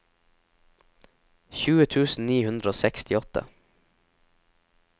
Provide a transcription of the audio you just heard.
tjue tusen ni hundre og sekstiåtte